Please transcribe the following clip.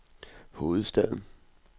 hovedstaden